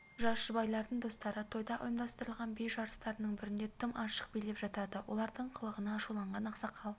жас жұбайлардың достары тойда ұйымдастырылған би жарыстарының бірінде тым ашық билеп жатады олардың қылығына ашуланған ақсақал